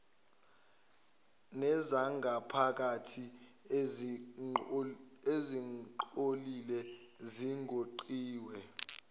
nezangaphakathi ezingcolile zigoqiwe